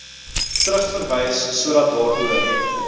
terugverwys sodat daaroor